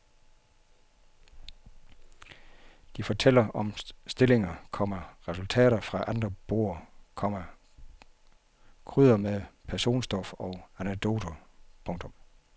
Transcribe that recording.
De fortæller om stillinger, komma resultater fra andre borde, komma krydrer med personstof og anekdoter. punktum